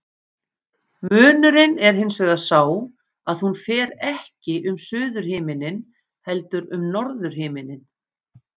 Munurinn er hins vegar sá að hún fer ekki um suðurhimininn heldur um norðurhimininn.